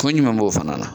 Kunko ɲuman b'o fana na